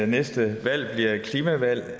næste valg bliver et klimavalg